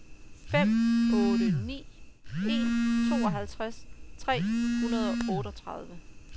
fem otte ni en tooghalvtreds tre hundrede og otteogtredive